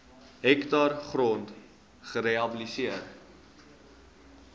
hektaar grond gerehabiliteer